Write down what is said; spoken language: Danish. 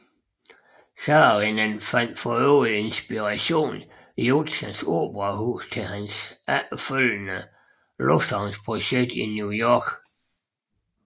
Saarinen fandt for øvrigt inspiration i Utzons operahus til sit efterfølgende lufthavnsprojekt i New York